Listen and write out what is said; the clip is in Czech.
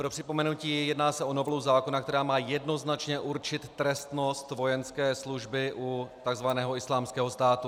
Pro připomenutí, jedná se o novelu zákona, která má jednoznačně určit trestnost vojenské služby u tzv. Islámského státu.